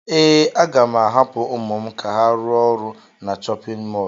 Ee, aga m ahapụ ụmụ m ka ha rụọ ọrụ na chọpịn mọọlụ.